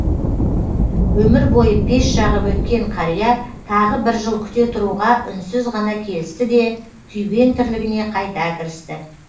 өмір бойы пеш жағып өткен қария тағы бір жыл күте тұруға үнсіз ғана келісті де күйбең тірлігіне қайта кірісті